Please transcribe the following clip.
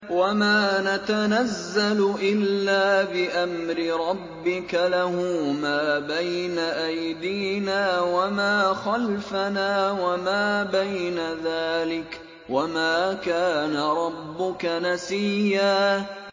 وَمَا نَتَنَزَّلُ إِلَّا بِأَمْرِ رَبِّكَ ۖ لَهُ مَا بَيْنَ أَيْدِينَا وَمَا خَلْفَنَا وَمَا بَيْنَ ذَٰلِكَ ۚ وَمَا كَانَ رَبُّكَ نَسِيًّا